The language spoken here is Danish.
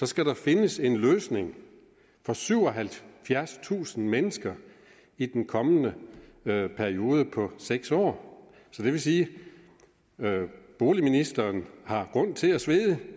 skal der findes en løsning for syvoghalvfjerdstusind mennesker i den kommende periode på seks år så det vil sige at boligministeren har grund til at svede